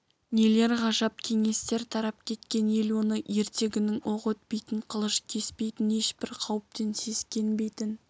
нелер ғажап кеңестер тарап кеткен ел оны ертегінің оқ өтпейтін қылыш кеспейтін ешбір қауіптен сескенбейтін